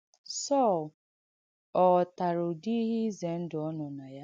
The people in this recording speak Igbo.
Sọl ọ̀ ghọ́tàrà ùdị̀ ihe ìzẹ ndụ̀ ọ nọ̀ na ya?